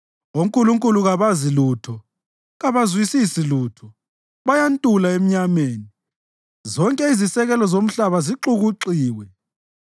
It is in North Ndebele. Onkulunkulu kabazi lutho, kabazwisisi lutho. Bayantula emnyameni; zonke izisekelo zomhlaba zixukuxiwe.